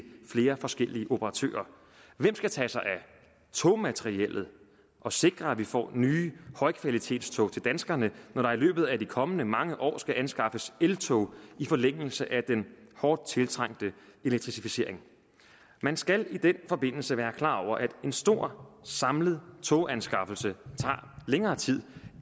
flere forskellige operatører hvem skal tage sig af togmateriellet og sikre at vi får nye højkvalitetstog til danskerne når der i løbet af de kommende mange år skal anskaffes eltog i forlængelse af den hårdt tiltrængte elektrificering man skal i den forbindelse være klar over at en stor samlet toganskaffelse tager længere tid